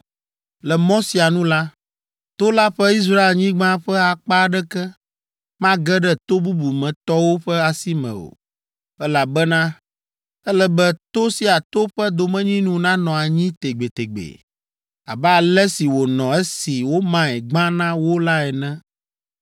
Le mɔ sia nu la, to la ƒe Israelnyigba ƒe akpa aɖeke mage ɖe to bubu me tɔwo ƒe asi me o, elabena ele be to sia to ƒe domenyinu nanɔ anyi tegbetegbe, abe ale si wònɔ esi womae gbã na wo la ene.